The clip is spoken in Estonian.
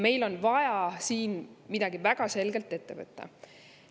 Meil on väga selgelt vaja siin midagi ette võtta.